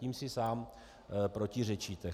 Tím si sám protiřečíte.